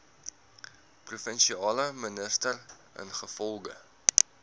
provinsiale minister ingevolge